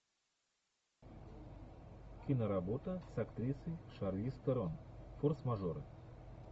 киноработа с актрисой шарлиз терон форс мажоры